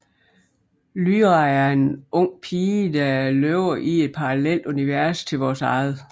Lyra er en ung pige der lever i et parallelt univers til vores eget